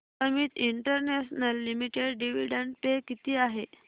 Amit international limited dividend pay किती आहे